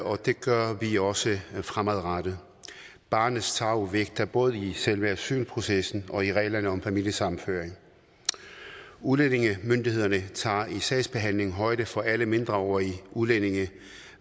og det gør vi også fremadrettet barnets tarv vægtes både i selve asylprocessen og i reglerne om familiesammenføring udlændingemyndighederne tager i sagsbehandlingen højde for alle mindreårige udlændinge